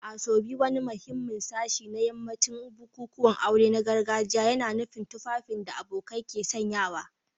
Asoebi, wani muhimmin sashi na yawancin bukukuwan aure na gargajiya, yana nufin tufafin da abokai ke sanyawa.